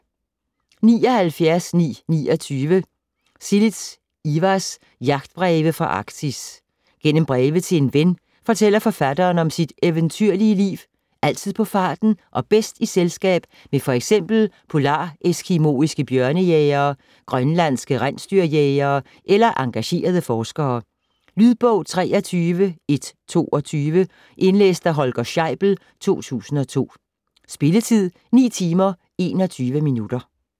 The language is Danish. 79.929 Silis, Ivars: Jagtbreve fra Arktis Gennem breve til en ven fortæller forfatteren om sit eventyrlige liv, altid på farten og bedst i selskab med f.eks. polareskimoiske bjørnejægere, grønlandske rensdyrjægere eller engagerede forskere. Lydbog 33122 Indlæst af Holger Scheibel, 2002. Spilletid: 9 timer, 21 minutter.